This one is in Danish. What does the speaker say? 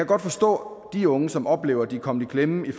godt forstå de unge som oplever at de er kommet i klemme i